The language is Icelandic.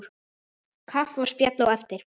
Kaffi og spjall á eftir.